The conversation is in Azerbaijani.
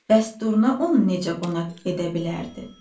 Bəs Durna onu necə qonaq edə bilərdi?